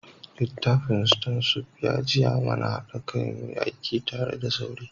Littafin stone soup ya jiya mana hada kai muyi aiki tare da saure.